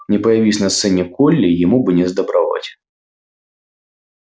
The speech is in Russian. не появись на сцене колли ему бы несдобровать